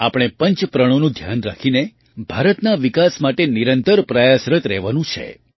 આપણે પંચ પ્રણોનું ધ્યાન રાખીને ભારતના વિકાસ માટે નિરંતર પ્રયાસરત રહેવાનું છે